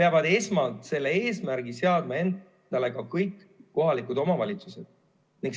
peavad esmalt selle eesmärgi seadma endale ka kõik kohalikud omavalitsused.